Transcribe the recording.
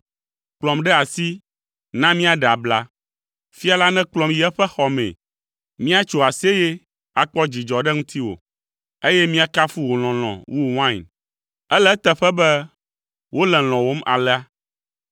Kplɔm ɖe asi, na míaɖe abla! Fia la nekplɔm yi eƒe xɔ mee. Míatso aseye, akpɔ dzidzɔ ɖe ŋutiwò, eye míakafu wò lɔlɔ̃ wu wain. Ele eteƒe be wole lɔ̃wòm alea!